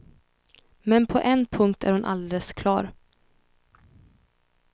Men på en punkt är hon alldeles klar.